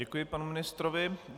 Děkuji panu ministrovi.